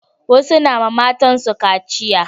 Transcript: Wasu na ma matan su kaciya